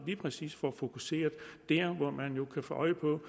lige præcis får fokuseret der hvor man jo kan få øje på